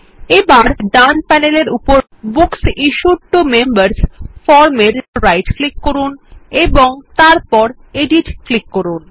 এবার ডান প্যানেলের উপর বুকস ইশ্যুড টো মেম্বার্স এ রাইট ক্লিক করুন এবং তারপর এডিট ক্লিক করুন